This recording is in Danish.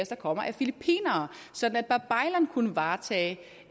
der kommer er filippinere så babaylan denmark kunne varetage